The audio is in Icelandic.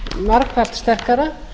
margfalt sterkara